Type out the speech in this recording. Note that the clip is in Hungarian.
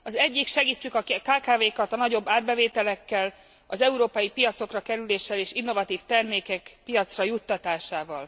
Az egyik segítsük a kkv kat a nagyobb árbevételekkel, az európai piacokra kerüléssel és innovatív termékek piacra juttatásával.